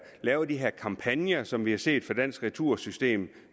lavet de her kampagner som vi har set fra dansk retursystem